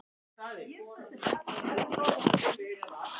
Hvað er að? spurði Örn hikandi.